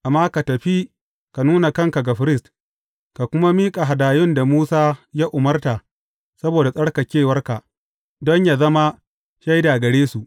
Amma ka tafi ka nuna kanka ga firist, ka kuma miƙa hadayun da Musa ya umarta saboda tsarkakewarka, don yă zama shaida gare su.